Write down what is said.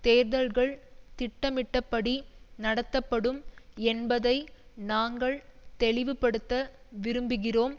தேர்தல்கள் திட்டமிட்டபடி நடத்தப்படும் என்பதை நாங்கள் தெளிவுபடுத்த விரும்புகிறோம்